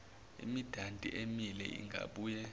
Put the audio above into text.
imidanti emile ingabuye